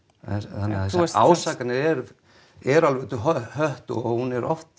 þannig að ásakanirnar eru eru alveg út í hött og hún er oft